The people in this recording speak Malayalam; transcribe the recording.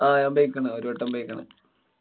ആ ഞാന്‍ പോയ്ക്കണ്. ഒരുവട്ടം പോയ്ക്കണ്.